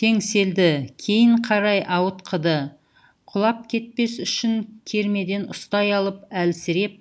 теңселді кейін қарай ауытқыды құлап кетпес үшін кермеден ұстай алып әлсіреп